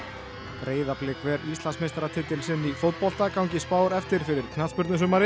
Breiðablik ver Íslandsmeistaratitil sinn í fótbolta gangi spár eftir fyrir